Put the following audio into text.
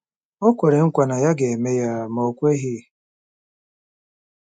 O kwere nkwa na ya ga-eme ya, ma o kweghị.